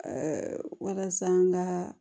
walasa an ka